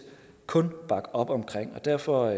kun bakke op omkring og derfor